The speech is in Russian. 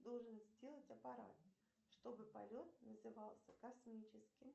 должен сделать аппарат чтобы полет назывался космическим